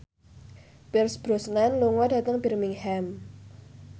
Pierce Brosnan lunga dhateng Birmingham